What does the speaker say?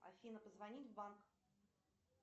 афина позвонить в банк